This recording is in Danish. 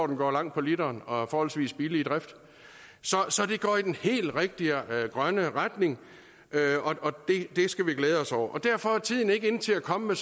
den går langt på literen og er forholdsvis billig i drift så det går i den helt rigtige grønne retning og det skal vi glæde os over derfor er tiden ikke inde til at komme med